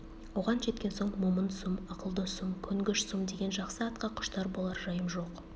оған жеткен соң момын сұм ақылды сұм көнгіш сұм деген жақсы атқа құштар болар жайым жоқ